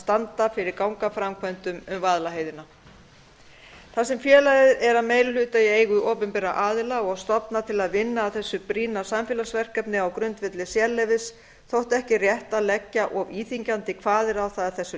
standa fyrir gangaframkvæmdum um vaðlaheiðina þar sem félagið er að meiri hluta í eigu opinberra aðila og stofnað til að vinna að þessu brýna samfélagsverkefni á grundvelli sérleyfis þótti ekki rétt að leggja of íþyngjandi kvaðir á það að þessu